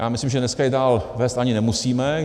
Já myslím, že dneska ji dál vést ani nemusíme.